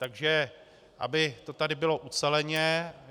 Takže aby to tady bylo uceleně.